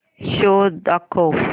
show दाखव